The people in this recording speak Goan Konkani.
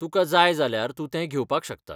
तुकां जाय जाल्यार तूं तें घेवपाक शकता.